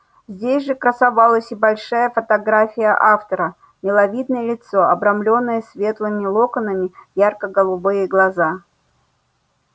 здесь же красовалась и большая фотография автора миловидное лицо обрамленное светлыми локонами ярко-голубые глаза